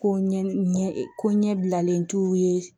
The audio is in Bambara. Ko ɲɛ e ko ɲɛbilalen t'u ye